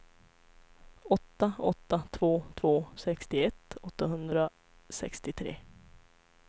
åtta åtta två två sextioett åttahundrasextiotre